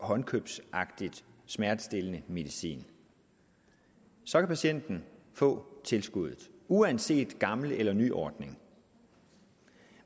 håndkøbsagtigt smertestillende medicin så kan patienten få tilskuddet uanset gammel eller ny ordning